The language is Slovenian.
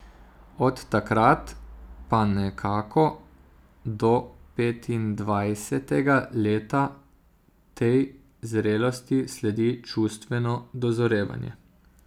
Od takrat pa nekako do petindvajsetega leta tej zrelosti sledi čustveno dozorevanje.